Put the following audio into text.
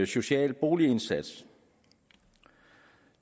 social boligindsats